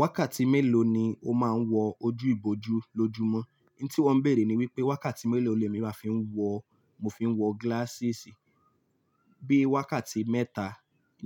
Wákàtí mélòó ni o máa ń wọ ojú ìbòjú lójúmọ́? N tí wọ̀ ń bèrè ni wípé wákàtí mélòó ni èmi máa fi ń wọ, mo fi ń wọ glasses. Bí i wákàtí mẹ́ta